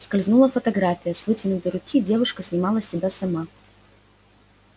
скользнула фотография с вытянутой руки девушка снимала себя сама